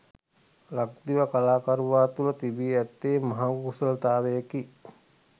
ලක්දිව කලාකරුවා තුළ තිබී ඇත්තේ මහඟු කුසලතාවයකි.